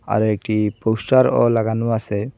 আরও একটি পোস্টারও লাগানো আসে।